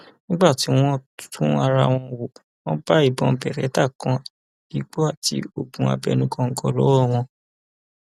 nígbà tí wọn tú ara wọn wò wọn bá ìbọn beretta kan igbó àti oògùn abẹnú góńgó lọwọ wọn